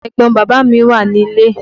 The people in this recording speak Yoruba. Ẹ̀gbọn bàbá mí wà nílé.